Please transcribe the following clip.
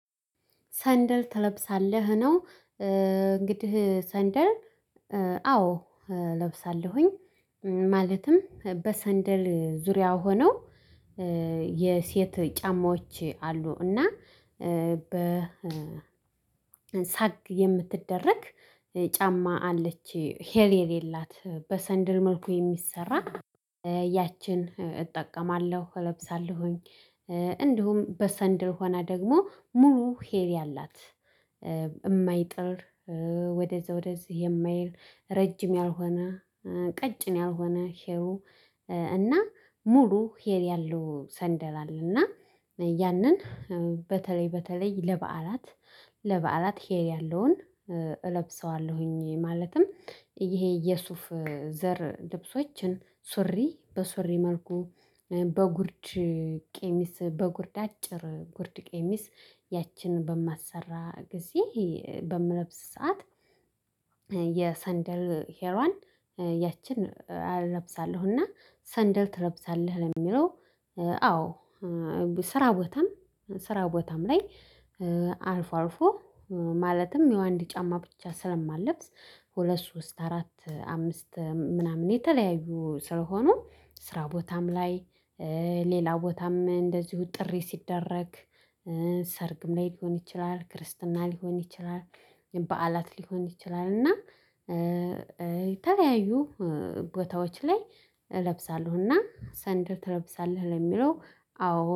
ሰንደል ትለብሳለህ ነው እንግዲህ ሰንደል አዎ እለብሳለሁኝ ማለትም በሰንደል ዙሪያ ሆነው የሴት ጫማዎች አሉ እና በ ሳግ የምትደረግ ጫማ አለች ሂል የሌላት በሰንደል መልኩ የሚሰራ ያችን እጠቀማለሁ እለብሳለሁኝ። እንዲሁም በሰንደል ሆና ደግሞ ሙሉ ሂል ያላት የማይጥል ወደዛ ወደዚህ የማይል ረጅም ያልሆነ ቀጭን ያልሆነ ሄሉ እና ሙሉ ሂል ያለው ሰንደል አለ እና ያንን በተለይ በተለይ ለበዓላት ለበዓላት ሂል ያለውን እለብሰዋለሁኝ። ማለትም ይሄ የሱፍ ዘር ልብሶችን ሱሪ በሱሪ መልኩ በጉርድ ቄሚስ በጉርድ አጭር ጉርድ ቄሚስ ያችን በማሰራ ጊዜ በምለብስ ሰዓት የሰንደል ሄሏን ያችን እለብሳለሁ እና ሰንደል ትለብሳለህ ለሚለው አዎ። ስራ ቦታም ስራ ቦታም ላይ አልፎ አልፎ ማለትም የዋንዲ ጫማ ብቻ ስለማልለብስ ሁለት ሶስት አራት አምስት ምናምን የተለያዩ ስለሆኑ ስራ ቦታም ላይ ሌላ ቦታም እንደዚሁ ጥሪ ሲደረግ ሰርግም ላይ ሊሆን ይችላል ክርስትና ሊሆን ይችላል። በዓላት ሊሆን ይችላል እና የተለያዩ ቦታዎች ላይ እለብሳለሁ እና ሰንደል ትለብሳለህ ለሚለው አዎ